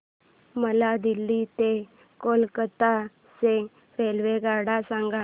मला दिल्ली ते कोलकता च्या रेल्वेगाड्या सांगा